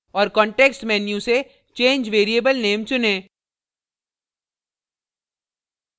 और context menu से change variable name चुनें